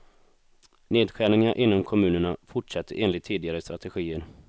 Nedskärningarna inom kommunerna fortsätter enligt tidigare strategier.